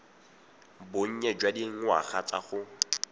bonnye jwa dingwaga tsa go